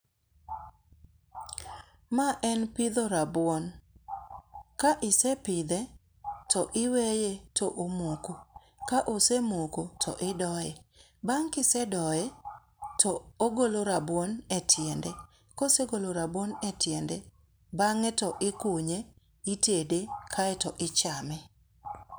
Ma en pidho rabuon. Ka isepidhe to iweye to omoko kaosemoko to idoye. Bang kisedoye to ogolo rabuon e tinde. Kosegolo rabuon e tiende, bang'e to ikunye, itede kaeto ichame.